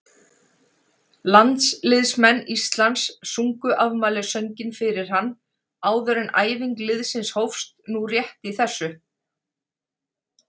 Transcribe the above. Landsliðsmenn Íslands sungu afmælissönginn fyrir hann áður en æfing liðsins hófst nú rétt í þessu.